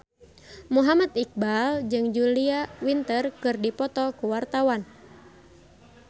Muhammad Iqbal jeung Julia Winter keur dipoto ku wartawan